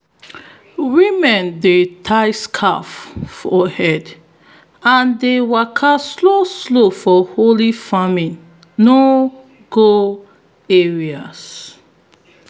women dey tie scarves for head and dey waka slow slow for holy farming no-go-areas.